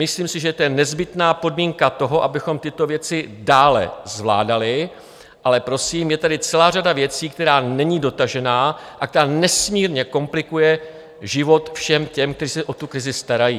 Myslím si, že to je nezbytná podmínka toho, abychom tyto věci dále zvládali, ale prosím, je tady celá řada věcí, která není dotažena a která nesmírně komplikuje život všem těm, kteří se o tu krizi starají.